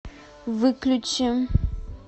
выключи